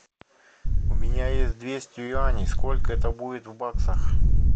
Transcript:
у меня есть двести юаней сколько это будет в баксах